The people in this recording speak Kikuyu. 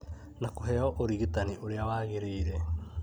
na kũheo ũrigitani ũrĩa wagĩrĩire.